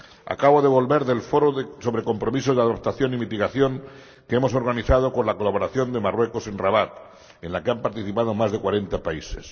Acabo de volver del Foro sobre compromisos de adaptación y mitigación que hemos organizado con la colaboración de Marruecos en Rabat, en el que han participado más de cuarenta países.